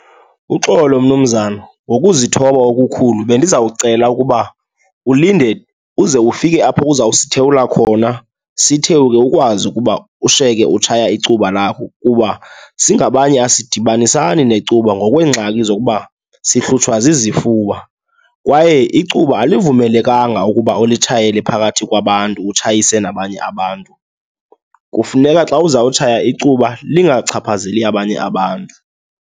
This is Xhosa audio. Uxolo mnumzana, ngokuzithoba okukhulu bendiza kucela ukuba ulinde uze ufike apho uzawusithewula khona, sithewuke, ukwazi ukuba ushiyeke utshaya icuba lakho kuba singabanye asidibanisani necuba ngokweengxaki zokuba sihlutshwa zizifuba. Kwaye icuba alivumelekanga ukuba ulitshayele phakathi kwabantu, utshayise nabanye abantu. Kufuneka xa uzawutshaya icuba lingachaphazeli abanye abantu.